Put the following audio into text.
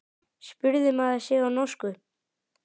spurði maður sig á norsku.